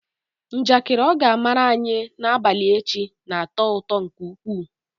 Njakịrị ọ ga amaara anyi n'abalị echi na-atọ ụtọ nke ukwuu.